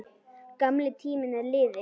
Gamli tíminn er liðinn.